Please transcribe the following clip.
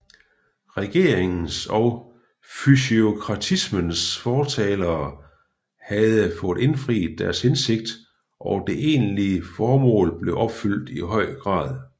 Regeringens og fysiokratismens fortalere havde fået indfriet deres hensigt og det egentlige formål blev opfyldt i høj grad